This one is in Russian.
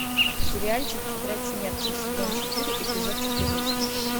сериальчик тетрадь смерти сезон четыре эпизод четырнадцать